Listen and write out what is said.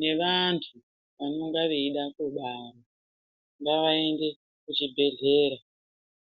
nevantu vanonga veida kubara ngavaende kuchibhedhlera.